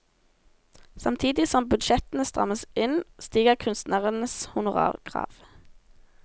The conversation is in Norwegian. Samtidig som budsjettene strammes inn, stiger kunstnernes honorarkrav.